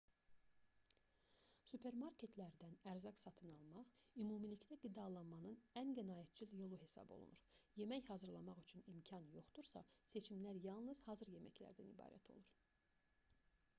supermarketlərdən ərzaq satın almaq ümumilikdə qidalanmanın ən qənaətcil yolu hesab olunur yemək hazırlamaq üçün imkan yoxdursa seçimlər yalnız hazır yeməklərdən ibarət olur